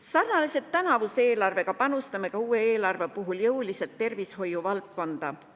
Sarnaselt tänavuse eelarvega panustame ka uue eelarvega jõuliselt tervishoiuvaldkonda.